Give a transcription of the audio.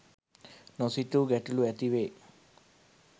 නොසිතූ ගැටලු ඇති වේ.